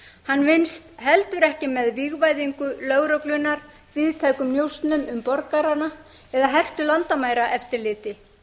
hann vinnst heldur ekki með vígvæðingu lögreglunnar víðtækum njósnum um borgarana eða hertu landamæraeftirliti